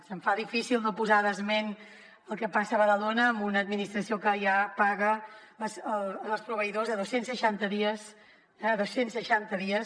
se’m fa difícil no fer esment del que passa a badalona amb una administració que ja paga els proveïdors a dos cents i seixanta dies dos cents i seixanta dies